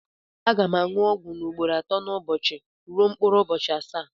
Aga m aṅụ ọgwụ m ugboro atọ n'ụbọchị ruo mkpụrụ ụbọchị asaa.